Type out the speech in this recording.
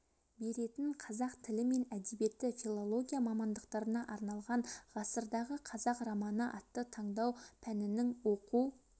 беретін қазақ тілі мен әдебиеті филология мамандықтарына арналған ғасырдағы қазақ романы атты таңдау пәнінің оқу